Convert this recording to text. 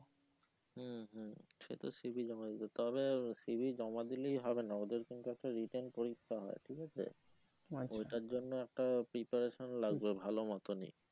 সে তো c. v. জমা দিতে হবে c. v. জমা দিলেই হবে না ওদের কিন্তু একটা written পরীক্ষা হয়ে ঠিক আছে ওইটার জন্য একটা preparation লাগবে ভালো মতনই